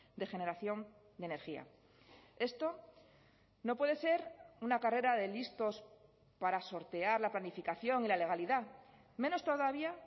de generación de energía esto no puede ser una carrera de listos para sortear la planificación y la legalidad menos todavía